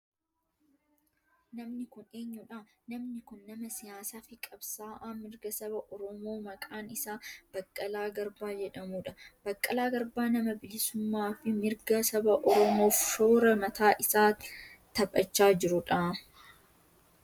Namni kun eenyudha? Namni kun nama siyaasaa fi qabsa'aa mirga saba oromoo maqaan isaa Baqqalaa Garbaa jedhamudha. Baqqalaa Garbaa nama bilisummaa fi mirga saba oromoof shoora mataa isaa taphachaa jirudha.